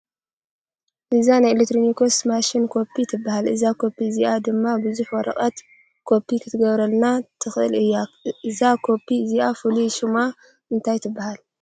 እዛ ናይ ኤለክትሮኒክስ ማሽን ኮፒ ትባሃል። እዛ ኮፒ እዚኣ ድማ ቡዙሕ ወረቀት ኮፒ ክትገብረልና ትክእል እያ። እዛ ኮፒ እዚኣ ፉሉይ ሽማ እንታይ ትባሃል?